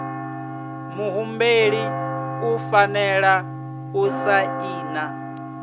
muhumbeli u fanela u saina